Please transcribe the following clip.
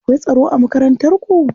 Akwai tsaro a Makarantar ku?